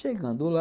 Chegando lá...